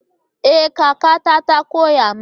Ee! kakata ta koya min.